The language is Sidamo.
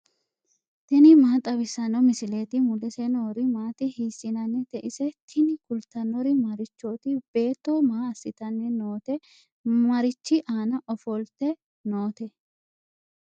tini maa xawissanno misileeti ? mulese noori maati ? hiissinannite ise ? tini kultannori marichooti? Beetto maa asittanni nootte? Marichi aanna offolitte nootte?